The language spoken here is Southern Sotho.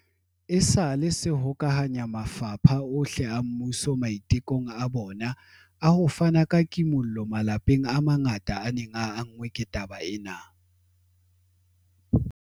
esale se hokahanya mafapha ohle a mmuso maitekong a bona a ho fana ka kimollo malapeng a mangata a neng a anngwe ke taba ena.